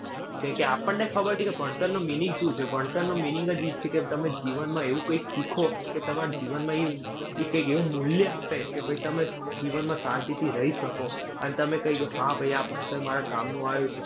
કેકે આપણને ખબર છે કે ભણતરનું meaning શું છે? ભણતરનું meaning જ ઈ જ છે કે તમે જીવનમાં એવું કૈંક શીખો, કે તમારા જીવનમાં ઈ ઈ કૈંક એવું મૂલ્ય આપે, કે ભૈ તમે જીવનમાં શાંતિથી રહી શકો. અને તમે કહી સ, હા ભાઈ હા આ ભણતર મારા કામનું આયુ